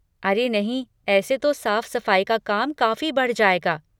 अरे नहीं, ऐसे तो साफ़ सफ़ाई का काम काफ़ी बढ़ जाएगा!